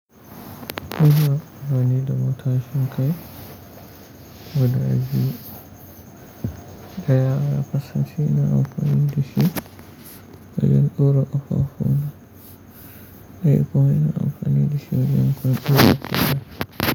Ina amfani da matashin kai guda biyu, ɗaya ya kasance ina amfani dashi wajen ɗora ƙafafu na, ɗaya kuma ina amfani dashi wajen ɗora kaina.